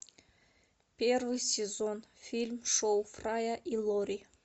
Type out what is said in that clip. первый сезон фильм шоу фрая и лори